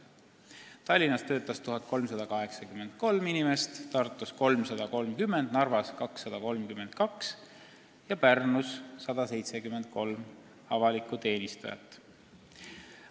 Tallinnas töötas 1383 inimest, Tartus 330, Narvas 232 ja Pärnus 173 avalikku teenistujat.